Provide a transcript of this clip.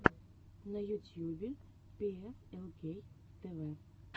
на ютюбе пиэфэлкей тэвэ